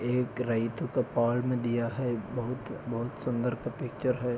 एक रहितों का पाल्म दिया है बहुत बहुत सुंदर पपी पिक्चर है।